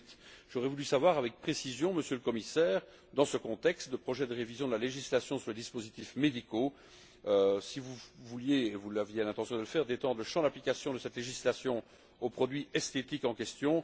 2008. J'aurais voulu savoir avec précision, Monsieur le Commissaire, dans ce contexte de projet de révision de la législation sur les dispositifs médicaux, si vous vouliez si vous aviez l'intention de le faire étendre le champ d'application de cette législation aux produits esthétiques en question.